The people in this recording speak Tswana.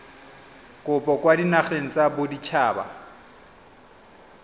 kopo kwa dinageng tsa baditshaba